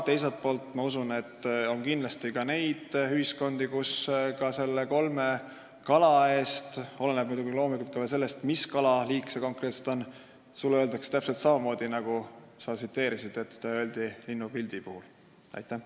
Teiselt poolt ma usun, et kindlasti on neid ühiskondi, kus sulle ka selle kolme kala pildi puhul – see oleneb muidugi veel sellest, mis kalaliigiga konkreetselt tegu on – öeldakse täpselt samamoodi, nagu sa linnupildi kohta tsiteerisid.